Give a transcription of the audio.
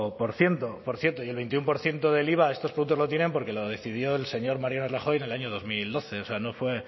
por ciento por ciento por cierto y el veintiuno por ciento del iva de estos productos lo tienen porque lo decidió el señor mario rajoy en el año dos mil doce o sea no fue